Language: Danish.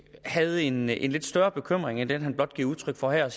havde en en lidt større bekymring end den han giver udtryk for her